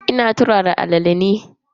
Ina turara alala na.